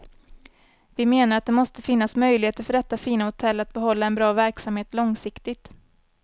Vi menar att det måste finnas möjligheter för detta fina hotell att behålla en bra verksamhet långsiktigt.